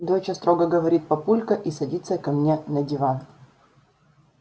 доча строго говорит папулька и садится ко мне на диван